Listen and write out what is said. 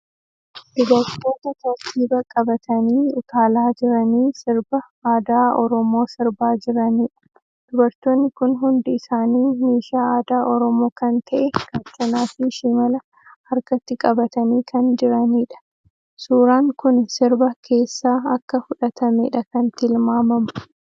Dubartoota tartiiba qabatanii utaalaa jiranii sirba aadaa Oromoo sirbaa jiraniidha. Dubartoonni kun hundi isaanii meeshaa aadaa Oromoo kan ta'e Gaachanaa fii shimala harkatti qabatanii kan jiraniidha. Suuran kuni sirba keessa akka fudhatameedha kan tilmaamamu.